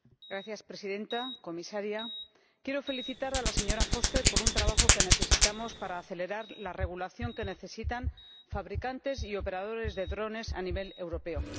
Señora Presidenta, comisaria, quiero felicitar a la señora Foster por un trabajo que necesitamos para acelerar la regulación que necesitan fabricantes y operadores de drones a nivel europeo.